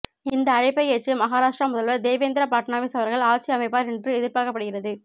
இந்த அழைப்பை ஏற்று மகாராஷ்டிர முதல்வர் தேவேந்திர ஃபட்னாவிஸ் அவர்கள் ஆட்சி அமைப்பார் என்று எதிர்பார்க்கப்படுகிறது